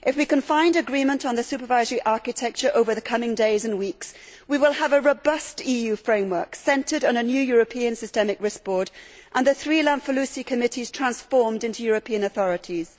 If we can find agreement on the supervisory architecture over the coming days and weeks, we will have a robust EU framework centred on a new European Systemic Risk Board and the three Lamfalussy committees transformed into European authorities.